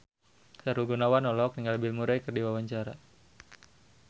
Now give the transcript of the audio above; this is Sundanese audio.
Sahrul Gunawan olohok ningali Bill Murray keur diwawancara